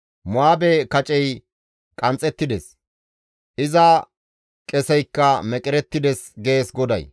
Mo7aabe kacey qanxxettides; iza qeseykka meqerettides.